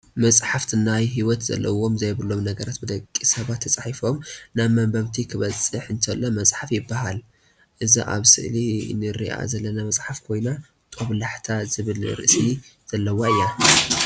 መፅሓፍት ናይ ሂወት ዘለዎም ዘየብሎም ነገራት ብደቂ ሰባት ተፃሕፉ ናብ መንበብቲ ክበፅሕ እንተሎ መፅሓፍ ይበሃል ። እዛ ኣብ ምስሊ እንሪኣ ዘለና መፅሓፍ ኮይና ጦብላሕታ ዝብል ርእሲ ዘለዋ እያ።